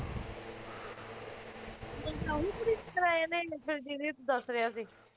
ਮੰਗਣਾ ਉਹੀ ਕੁੜੀ ਨਾਲ ਕਰਾਇਆ ਇਹਨੇ ਜਿਹੜੀ ਤੂੰ ਦੱਸ ਰਿਹਾ ਸੀ